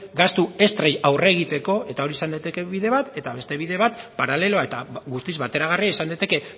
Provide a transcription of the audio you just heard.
gastu extra aurre egiteko eta hori izan daiteke bide bat eta beste bide bat paraleloa eta guztiz bateragarria izan daiteke